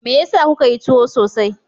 Me yasa kuka yi tuwo sosai?